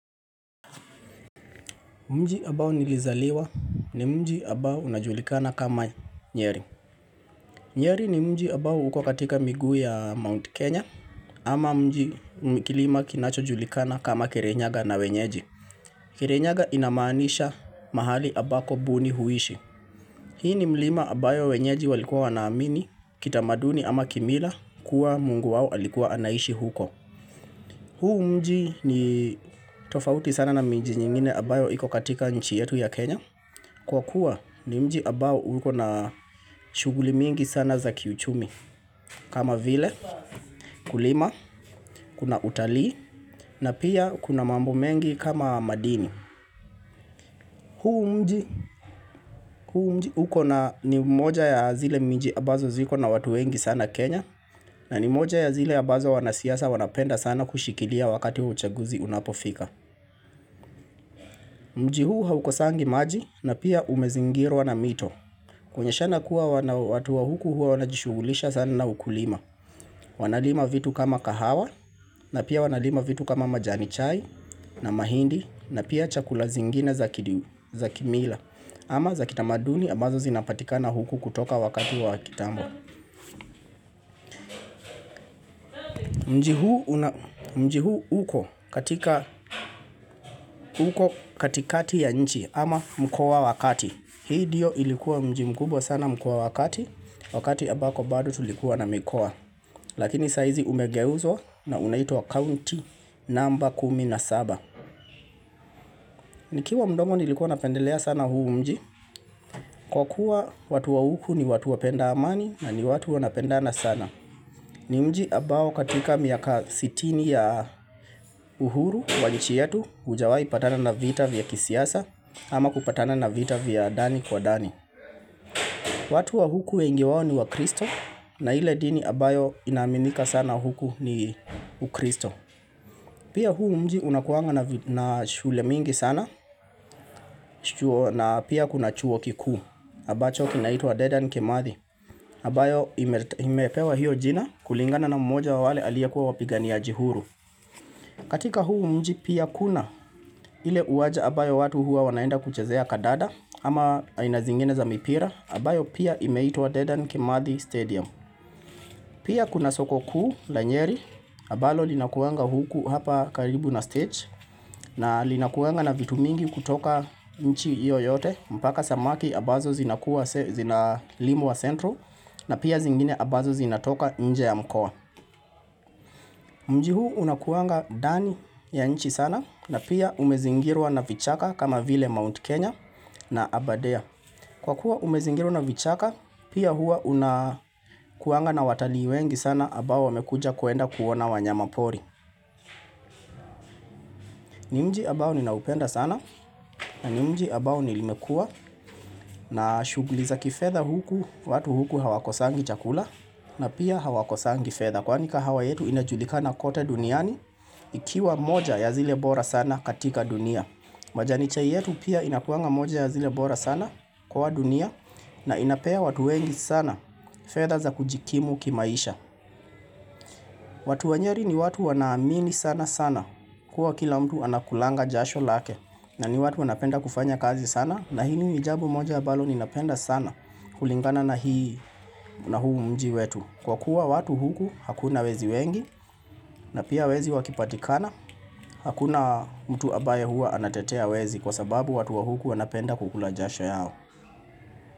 Mji ambao nilizaliwa ni mji abao unajulikana kama nyeri. Nyeri ni mji abao huko katika miguu ya Mount Kenya ama kilima kinachojulikana kama kirinyaga na wenyeji. Kirinyaga inamaanisha mahali abako buni huishi. Hii ni mlima abayo wenyeji walikuwa wanaamini kitamaduni ama kimila kuwa mungu wao alikuwa anaishi huko. Huu mji ni tofauti sana na mji nyingine abayo iko katika nchi yetu ya Kenya. Kwa kuwa ni mji abao uko na shughuli mingi sana za kiuchumi kama vile kulima, kuna utalii na pia kuna mambo mengi kama madini. Huu mji huko ni moja ya zile mji abazo ziko na watu wengi sana Kenya na ni moja ya zile abazo wanasiasa wanapenda sana kushikilia wakati uchaguzi unapofika. Mji huu haukosangi maji na pia umezingirwa na mito Kuonyeshana kuwa watu wa huku hua wanajishugulisha sana na ukulima Wanalima vitu kama kahawa na pia wanalima vitu kama majani chai na mahindi na pia chakula zingine za kimila ama za kitamaduni ambazo zinapatikana huku kutoka wakati wa kitambo Mji huu uko katikati ya nchi ama mkoa wa kati Hii dio ilikuwa mji mkubwa sana mkoa wa kati, wakati ambako bado tulikuwa na mikoa. Lakini saizi umegeuzwa na unaitwa county number 17. Nikiwa mdogo nilikuwa napendelea sana huu mji, kwa kuwa watu wa huku ni watu wapenda amani na ni watu wanapenda na sana. Ni mji abao katika miaka sitini ya uhuru wa nchi yetu ujawai patana na vita vya kisiasa ama kupatana na vita vya dani kwa dani. Watu wa huku wengi wao ni wakristo na ile dini abayo inaaminika sana huku ni ukristo. Pia huu mji unakuanga na shule mingi sana na pia kuna chuo kikuu. Abacho kinaitwa Dedan Kimathi. Abayo imepewa hiyo jina kulingana na mmoja wa wale aliyekuwa wapiganiaji huru. Katika huu mji pia kuna hile uwaja abayo watu hua wanaenda kuchezea kadada ama aina zingine za mipira. Abayo pia imeitwa Dedan Kimathi Stadium. Pia kuna soko kuu la nyeri, abalo linakuanga huku hapa karibu na stage, na linakuanga na vitu mingi kutoka nchi iyo yote, mpaka samaki abazo zinalimwa centro, na pia zingine abazo zinatoka nje ya mkoa. Mji huu unakuanga ndani ya nchi sana, na pia umezingirwa na vichaka kama vile Mount Kenya na abadea. Kwa kuwa umezingirwa na vichaka, pia hua unakuanga na watalii wengi sana abao wamekuja kuenda kuona wanyamapori. Ni mji abao ninaupenda sana na ni mji abao limekua na shuguli za kifedha huku, watu huku hawakosangi chakula na pia hawakosangi fedha. Kwani kahawa yetu inajulikana kote duniani ikiwa moja ya zile bora sana katika dunia. Majani chai yetu pia inakuanga moja ya zile bora sana kwa dunia na inapea watu wengi sana fedha za kujikimu kimaisha watu wa nyeri ni watu wanaamini sana sana Kua kila mtu anakulanga jasho lake na ni watu wanapenda kufanya kazi sana na hili ni jambo moja abalo ninapenda sana kulingana na huu mji wetu Kwa kuwa watu huku hakuna wezi wengi na pia wezi wakipatikana Hakuna mtu abaye hua anatetea wezi kwa sababu watu wa huku wanapenda kukula jasha yao.